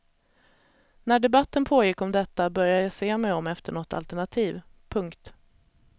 När debatten pågick om detta började jag se mig om efter något alternativ. punkt